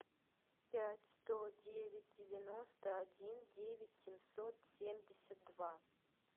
пять сто девять девяносто один девять семьсот семьдесят два